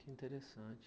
Que interessante.